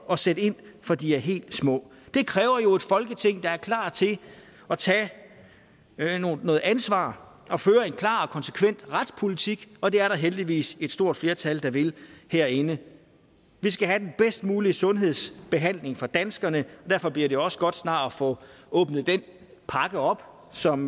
og sætte ind fra de er helt små det kræver jo et folketing der er klar til at tage noget ansvar og føre en klar og konsekvent retspolitik og det er der heldigvis et stort flertal der vil herinde vi skal have den bedst mulige sundhedsbehandling for danskerne og derfor bliver det også godt snart at få åbnet den pakke op som